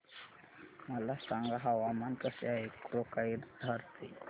मला सांगा हवामान कसे आहे कोक्राझार चे